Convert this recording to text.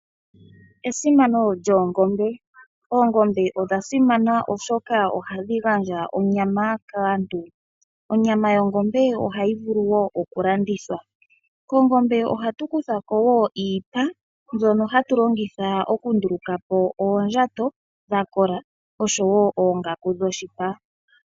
Oongombe odha simana oshoka ohadhi gandja onyama kaantu. Onyama yongombe ohayi vulu wo okulandithwa . Kongombe ohatu kutha wo iipa mbyono hatu longitha okundulukapo oondjato dhakola oshowoo oongaku dhoshipa.